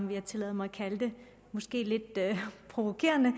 vil tillade mig måske lidt provokerende